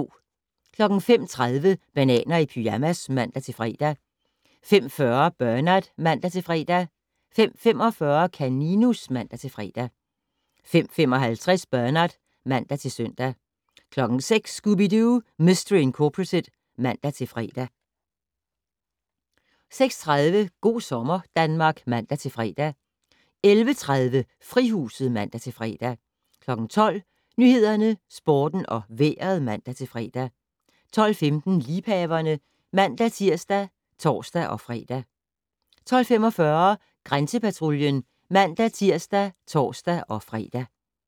05:30: Bananer i pyjamas (man-fre) 05:40: Bernard (man-fre) 05:45: Kaninus (man-fre) 05:55: Bernard (man-søn) 06:00: Scooby-Doo! Mystery Incorporated (man-fre) 06:30: Go' sommer Danmark (man-fre) 11:30: Frihuset (man-fre) 12:00: Nyhederne, Sporten og Vejret (man-fre) 12:15: Liebhaverne (man-tir og tor-fre) 12:45: Grænsepatruljen (man-tir og tor-fre)